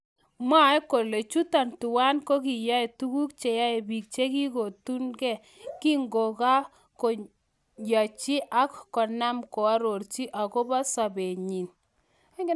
Mwae kole chuton twan kokiyai tukuk cheyae biik chekikotundee kinkoka koyanjin ak konaam koarorchi akobo sobenyin